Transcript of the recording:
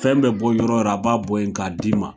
Fɛn bɛ bɔ yɔrɔ yɔrɔ a b'a bɔ yen k'a d'i ma